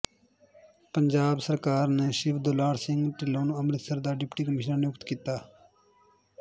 ਪੰਜਾਬ ਸਰਕਾਰ ਨੇ ਸ਼ਿਵ ਦੁਲਾਰ ਸਿੰਘ ਢਿੱਲੋਂ ਨੂੰ ਅੰਮ੍ਰਿਤਸਰ ਦਾ ਡਿਪਟੀ ਕਮਿਸ਼ਨਰ ਨਿਯੁਕਤ ਕੀਤਾ